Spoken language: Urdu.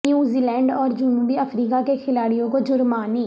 نیوزی لینڈ اور جنوبی افریقہ کے کھلاڑیوں کو جرمانے